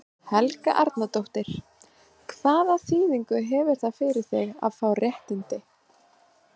Helga Arnardóttir: Hvaða þýðingu hefur það fyrir þig að fá réttindi?